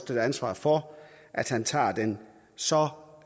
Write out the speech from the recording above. til ansvar for at han tager den så